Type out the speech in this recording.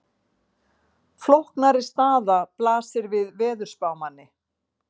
Flóknari staða blasir við veðurspámanni.